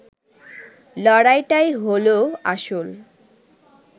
লড়াইটাই হলও আসল